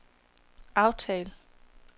aftal